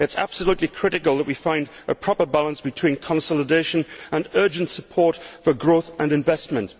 It is absolutely critical that we find a proper balance between consolidation and urgent support for growth and investment.